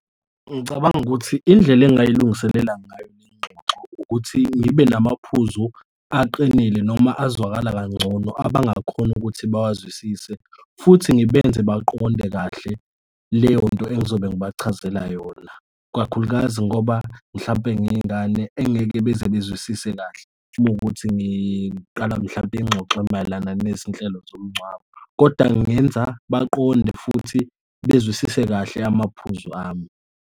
Ngicabanga ukuthi indlela engingayilungiselela ngayo lezingxoxo ukuthi ngibe namaphuzu aqinile noma azwakala kangcono abangakhona ukuthi bawazwisise, futhi ngibenze baqonde kahle leyonto engizobe ngibachazela yona, kakhulukazi ngoba mhlawumpe ngiyingane engeke bezebezwisise kahle uma kuwukuthi ngiqala mhlampe ingxoxo mayelana nezinhlelo zomngcwabo, kodwa ngenza baqonde futhi bezwisise kahle amaphuzu ami.